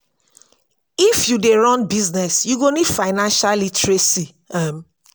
if you dey run business you go need financial literacy. um